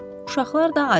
Uşaqlar da acdır.